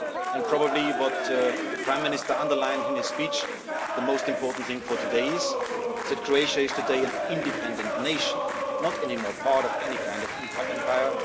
And probably what the prime minister underlined in his speech the most important thing for today is that Croatia is today an independent nation, not anymore part of any kind of Empire.